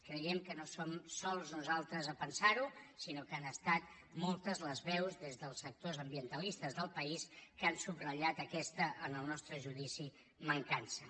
creiem que no som sols nosaltres a pensar ho sinó que han estat moltes les veus des dels sectors ambientalistes del país que han subratllat aquesta en el nostre judici mancança